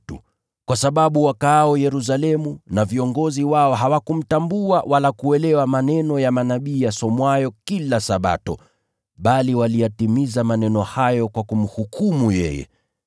Kwa sababu wakaao Yerusalemu na viongozi wao hawakumtambua wala kuelewa maneno ya manabii yasomwayo kila Sabato, bali waliyatimiza maneno hayo kwa kumhukumu yeye.